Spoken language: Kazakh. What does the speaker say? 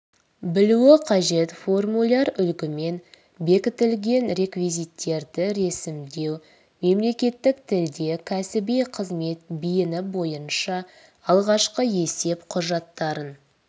білуі қажет формуляр үлгімен бекітілген реквизиттерді ресімдеу мемлекеттік тілде кәсіби қызмет бейіні бойынша алғашқы есеп құжаттарын